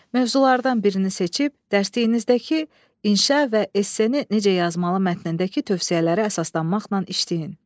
Mövzulardan birini seçib, dərsliyinizdəki inşa və esseni necə yazmalı mətnindəki tövsiyələri əsaslanmaqla işləyin.